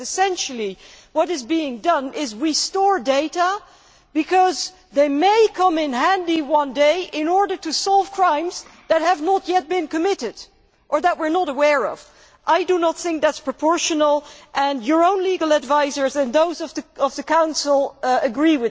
Essentially, what is being done is that data is stored because it may come in handy one day in order to solve crimes that have not yet been committed and that we are not aware of. That is not proportional and your own legal advisers and those of the Council agree.